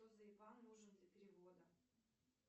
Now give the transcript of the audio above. нужен для перевода